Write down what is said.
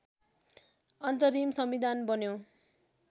अन्तरिम संविधान बन्यो